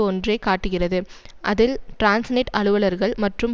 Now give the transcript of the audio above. ஒன்றை காட்டுகிறது அதில் டிரான்ஸ்நெட் அலுவலர்கள் மற்றும்